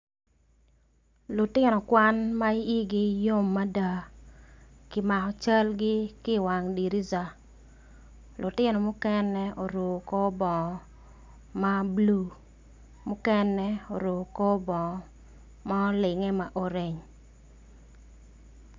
Lutino kwan ma i yi yom mada kimako cal gi kiwang dirisa lutino mukene oruko kor bongo ma blue oruko kor bongo ma olinge.